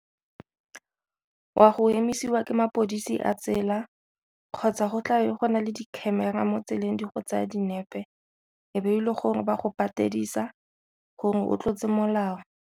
O a go emisiwa ke mapodisi a tsela kgotsa go tlabe go na le di-camera mo tseleng di go tsaya dinepe, e be e le gore ba go patedisa gore o tlotse molao.